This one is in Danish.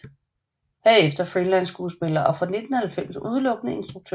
Herefter freelance skuespiller og fra 1990 udelukkende instruktør